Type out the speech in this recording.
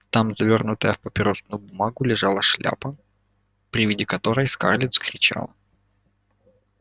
там завёрнутая в папиросную бумагу лежала шляпа при виде которой скарлетт вскричала